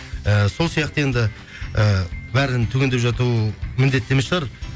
ііі сол сияқты енді і бәрін түгендеп жату міндетті емес шығар